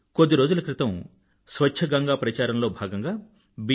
కొద్ది రోజుల క్రితం స్వచ్ఛ గంగా ప్రచారంలో భాగంగా బి